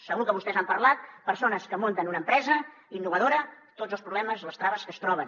segur que vostès han parlat amb persones que munten una empresa innovadora de tots els problemes les traves que es troben